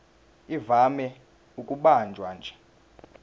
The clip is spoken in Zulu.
ivame ukubanjwa nje